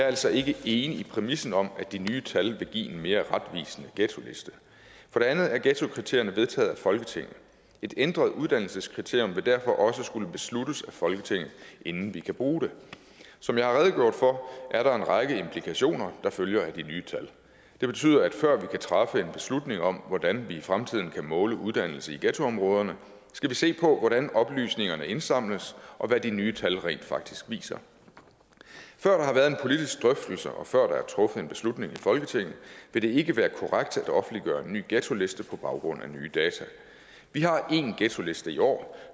altså ikke enig i præmissen om at de nye tal vil give en mere retvisende ghettoliste for det andet er ghettokriterierne vedtaget af folketinget et ændret uddannelseskriterium vil derfor også skulle besluttes af folketinget inden vi kan bruge det som jeg har redegjort for er der en række implikationer der følger af de nye tal det betyder at før vi kan træffe en beslutning om hvordan vi i fremtiden kan måle uddannelse i ghettoområderne skal vi se på hvordan oplysningerne indsamles og hvad de nye tal rent faktisk viser før der har været en politisk drøftelse og før der er truffet en beslutning i folketinget vil det ikke være korrekt at offentliggøre en ny ghettoliste på baggrund af nye data vi har en ghettoliste i år